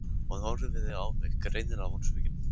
Hún horfði á mig, greinilega vonsvikin.